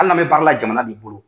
Hali n'an bɛ baara la jamana de bolo.